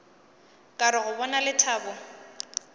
ka re go bona lethabo